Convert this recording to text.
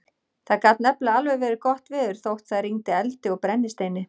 Það gat nefnilega alveg verið gott veður þótt það rigndi eldi og brennisteini.